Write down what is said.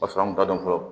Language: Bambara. Paseke an kun t'a dɔn fɔlɔ